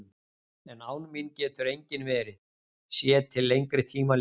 En án mín getur enginn verið, sé til lengri tíma litið.